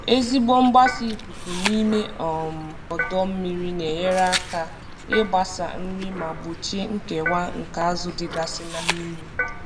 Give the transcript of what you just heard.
Ezigbo mgbasa ikuku n'ime um ọdọ mmiri na-enyere aka ịgbasa nri ma gbochie nkewa nke azụ dịgasị na mmiri.